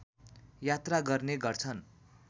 यात्रा गर्ने गर्छन्